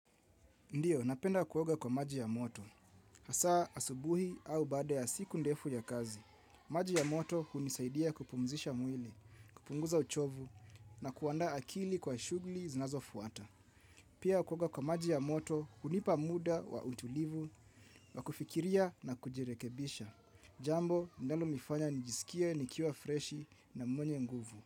Ndiyo, napenda kuoga kwa maji ya moto. Hasaa, asubuhi au baada ya siku ndefu ya kazi. Maji ya moto unisaidia kupumzisha mwili, kupunguza uchovu, na kuandaa akili kwa shugli zinazofuata. Pia kuoga kwa maji ya moto unipa muda wa utulivu, wa kufikiria na kujirekebisha. Jambo, linalonifanya nijisikie, nikiwa freshi na mwenye nguvu.